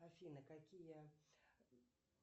афина какие